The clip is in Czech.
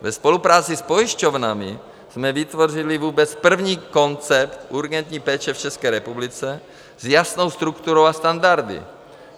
Ve spolupráci s pojišťovnami jsme vytvořili vůbec první koncept urgentní péče v České republice s jasnou strukturou a standardy.